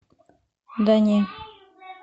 да не